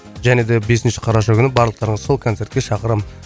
және де бесінші қараша күні барлықтарыңызды сол концертке шақырамын